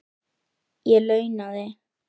Ég launaði